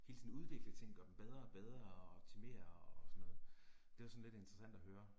Hele tiden udvikle ting, gøre dem bedre og bedre og optimere og sådann noget. Det var sådan lidt interessant at høre